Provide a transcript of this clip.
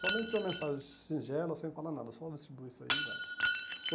Somente uma mensagem singela, sem falar nada, só distribuir isso aí e vai.